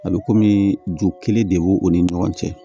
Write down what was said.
A bɛ kɔmi ju kelen de b'o o ni ɲɔgɔn cɛ